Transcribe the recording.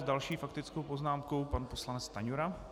S další faktickou poznámkou pan poslanec Stanjura.